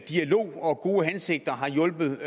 dialog og gode hensigter har hjulpet